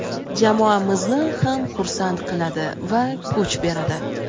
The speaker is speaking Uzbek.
jamoamizni ham xursand qiladi va kuch beradi!.